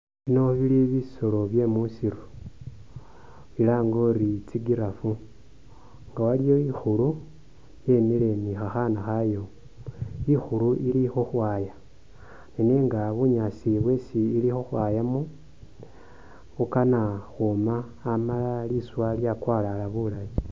Bino bili bisolo bye musiru bilange uri, tsi'giraffe nga waliyo ikhulu yemile ne khakhana khayo, ikhulu ili khukhwaya ne nenga bunyaasi bwesi ili khukhwaya mo bukana ukhwoma amala liswa lyakwalala bulaayi.